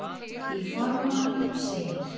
Í formálanum segir